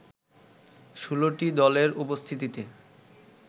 ষোলটি দলের উপস্থিতিতে